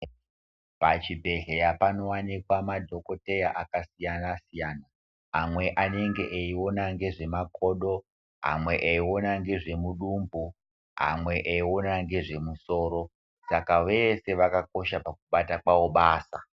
Pachibhedhleya panovanikwa madhokoteya akasiyana-siyana. Amwe anenge eiiona ngezvemakodo. amwe eiona ngezvemudumbu, amwe eiona ngezvemusoro saka vese vakakosha pakubata kwavo basa.